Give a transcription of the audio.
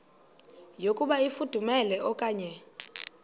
yokuba ifudumele okanye